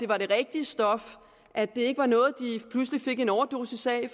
var det rigtige stof og at det ikke var noget de pludselig en overdosis af